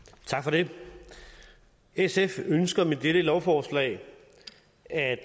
det sf ønsker med dette lovforslag at